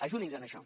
ajudi’ns en això